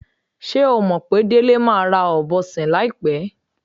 S̩é o mò̩ pé Délé máa ra ò̩bo̩ sìn láìpé̩?